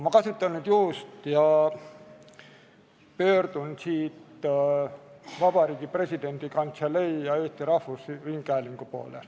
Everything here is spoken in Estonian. Ma kasutan nüüd juhust ning pöördun Vabariigi Presidendi Kantselei ja Eesti Rahvusringhäälingu poole.